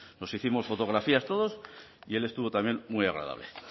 nos hicimos fotografías todos y él estuvo también muy agradable